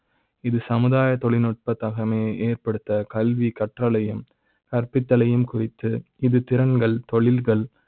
இது சமுதாய தொழில்நுட்பத்தகமையை ஏற்படுத்த கல்வி கற்றலை யும் கற்பித்த லையும் குறித்து இது திறன்கள் தொழில்கள்